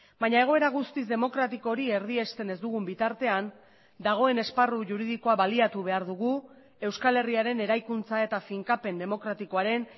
baina egoera guztiz demokratiko hori erdiesten ez dugun bitartean dagoen esparru juridikoa baliatu behar dugu euskal herriaren eraikuntza eta finkapen demokratikoaren